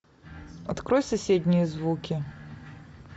открой соседние звуки